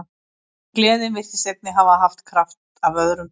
En gleðin virtist einnig hafa haft kraft af öðrum toga.